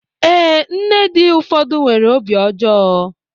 Ee, nne dị ụfọdụ nwere obi ọjọọ